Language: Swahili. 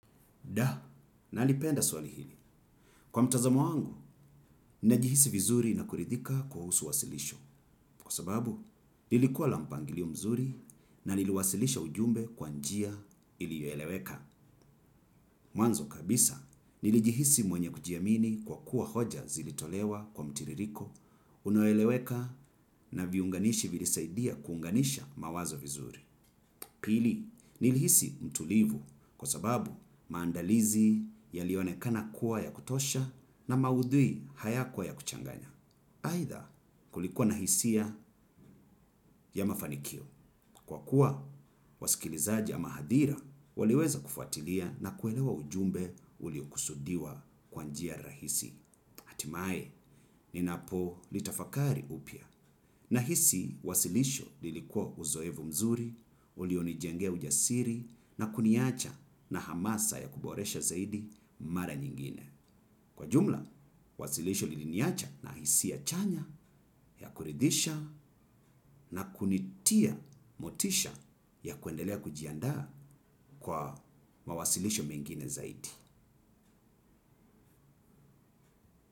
Da, nalipenda swali hili. Kwa mtazamo wangu, nilijihisi vizuri na kuridhika kuhusu wasilisho. Kwa sababu, nilikuwa la mpangilio mzuri na niliwasilisha ujumbe kwa njia iliyoeleweka. Mwanzo kabisa, nilijihisi mwenye kujiamini kwa kuwa hoja zilitolewa kwa mtiririko, unoeleweka na viunganishi vilisaidia kuunganisha mawazo vizuri. Pili, nilihisi mtulivu kwa sababu maandalizi yalionekana kuwa ya kutosha na maudhui hayakuwa ya kuchanganya. Aidha kulikuwa nahisia ya mafanikio. Kwa kuwa, wasikilizaji ama hahadira, waliweza kufuatilia na kuelewa ujumbe uliokusudiwa kwa njia rahisi. Hatimaye, ninapo litafakari upya nahisi, wasilisho lilikuwa uzoefu mzuri, ulionijengea ujasiri na kuniacha na hamasa ya kuboresha zaidi mara nyingine. Kwa jumla, wasilisho liliniacha na hisia chanya ya kuridhisha na kunitia motisha ya kuendelea kujiandaa kwa mawasilisho mengine zaidi.